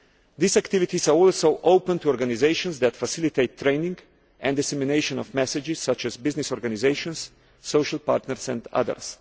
These activities are also open to organisations that facilitate training and dissemination of messages, such as business organisations, social partners and others.